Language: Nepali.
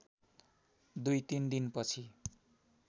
दुई तिन दिनपछि